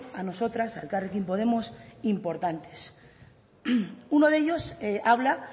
a nosotras a elkarrekin podemos importantes uno de ellos habla